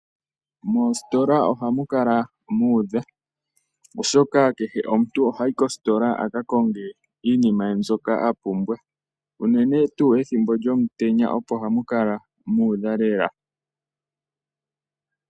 Moositola ohamu kala muudha oshoka kehe omuntu ohayi koositola akakonge iinima ye mbyoka apumbwa unene tuu ethimbo lyomutenya opo hamu kala muudha lela.